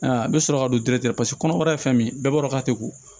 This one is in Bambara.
I bɛ sɔrɔ ka don paseke kɔnɔbara ye fɛn min ye bɛɛ b'a dɔn k'a tɛ ko